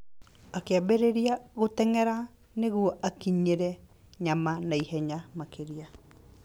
Akĩambĩrĩria gũteng'era nĩguo akinyĩre nyama na ihenya makĩria.